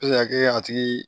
a kɛ a tigi